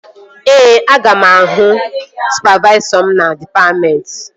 Ee, aga m abịa ịhụ sụpavaisọ m na dịpatmentị